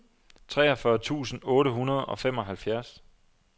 treogfyrre tusind otte hundrede og femoghalvfjerds